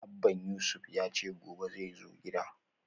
Abban Yusuf yace gobe xai zo gidan